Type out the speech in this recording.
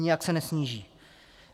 Nijak se nesníží.